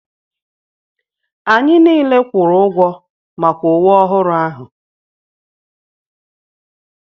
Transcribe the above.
Anyị niile kwụrụ ụgwọ maka uwe ọhụrụ ahụ.